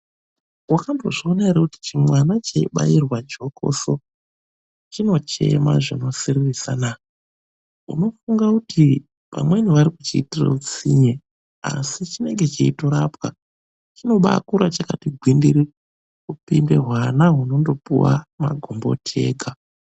Wakambozviona ere kuti chimwana cheibairwa jokoso chinochema zvinosiririsana? Unofunga kuti vari kuchiitira hutsinye asi chinenge cheitorapwa. Chinobaakura chakati gwindiri kupinda hwana hunopiwa makomboti ega.